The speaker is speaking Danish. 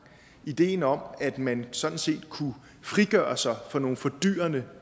ideen om at man sådan set kunne frigøre sig fra nogle fordyrende